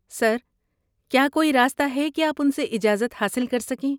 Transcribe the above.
سر، کیا کوئی راستہ ہے کہ آپ ان سے اجازت حاصل کر سکیں؟